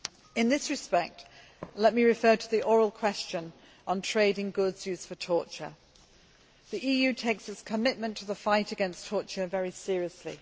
In this respect, let me refer to the oral question on trade in goods used for torture. The EU takes its commitment to the fight against torture very seriously.